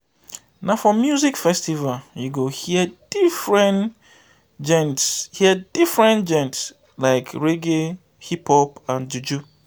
na for music festival you go hear different genres hear different genres like reggae hip-hop and juju.